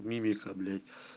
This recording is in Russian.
мимика блять